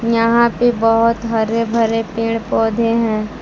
यहां पे बहुत हरे भरे पेड़ पौधे हैं।